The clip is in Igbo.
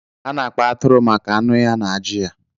Ana akpa atụrụ maka anụ ya na aji ya.